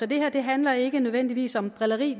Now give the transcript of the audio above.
det her handler ikke nødvendigvis om drilleri